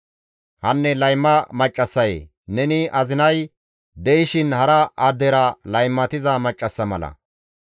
« ‹Hanne layma maccassayee! Neni azinay de7ishin hara addera laymatiza maccassa mala.